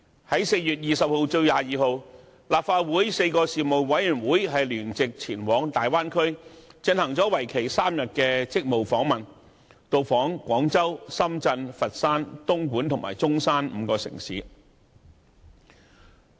立法會轄下4個事務委員會於4月20日至22日，聯席前往大灣區進行為期3天的職務訪問，到訪廣州、深圳、佛山、東莞和中山5個城市。